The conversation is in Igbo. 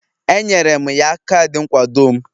Enyere m ya kaadị nkwado m